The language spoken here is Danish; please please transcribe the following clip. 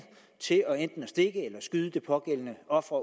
til enten at stikke eller skyde det pågældende offer